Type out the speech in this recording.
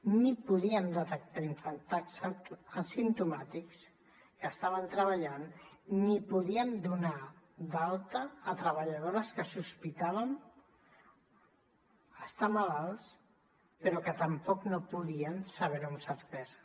ni podíem detectar infectats asimptomàtics que estaven treballant ni podíem donar d’alta treballadores que sospitaven estar malaltes però que tampoc no podíem saber ho amb certesa